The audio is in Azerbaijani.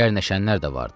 Gərnəşənlər də vardır.